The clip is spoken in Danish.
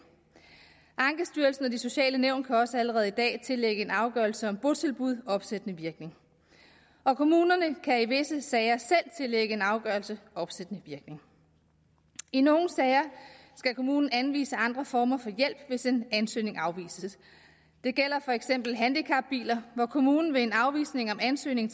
ankestyrelsen og de sociale nævn kan også allerede i dag tillægge en afgørelse om botilbud opsættende virkning og kommunerne kan i visse sager selv tillægge en afgørelse opsættende virkning i nogle sager skal kommunen anvise andre former for hjælp hvis en ansøgning afvises det gælder for eksempel i handicapbiler hvor kommunen ved en afvisning af en ansøgning